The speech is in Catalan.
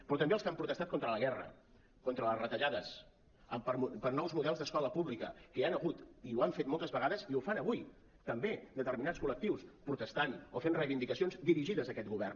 però també els que han protestat contra la guerra contra les retallades per nous models d’escola pública que hi han hagut i ho han fet moltes vegades i ho fan avui també determinats col·lectius protestant o fent reivindicacions dirigides a aquest govern